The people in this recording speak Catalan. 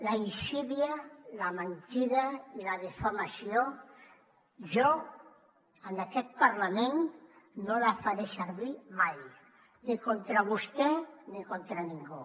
la insídia la mentida i la difamació jo en aquest parlament no la faré servir mai ni contra vostè ni contra ningú